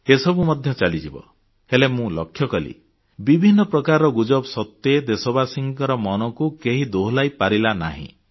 ଏସବୁ ମଧ୍ୟ ଚାଲିଯିବ ହେଲେ ମୁଁ ଲକ୍ଷ୍ୟ କଲି ବିଭିନ୍ନ ପ୍ରକାର ଗୁଜବ ସତ୍ତ୍ୱେ ଦେଶବାସୀଙ୍କ ମନକୁ କେହି ଦୋହଲାଇ ପାରିଲା ନାହିଁ